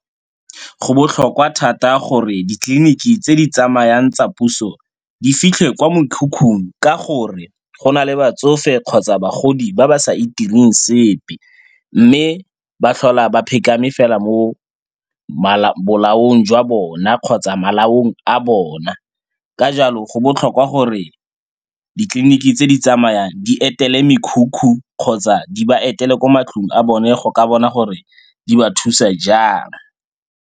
Go botlhokwa thata gore ditleliniki tse di tsamayang tsa puso di fitlhe kwa mekhukhung ka gore go na le batsofe kgotsa bagodi ba ba sa itireng sepe mme ba tlhola ba phekame fela mo bolaong jwa bona kgotsa malaong a bona. Ka jalo go botlhokwa gore ditleliniki tse di tsamaya di etele mekhukhu kgotsa di ba etele kwa matlong a bone go ka bona gore di ba thusa jang.